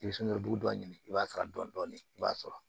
I bɛ sunkuruba dɔ ɲini i b'a sara dɔɔni dɔɔni i b'a sɔrɔ